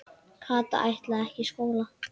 Kata ætlaði ekki í skóla.